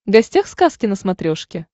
гостях сказки на смотрешке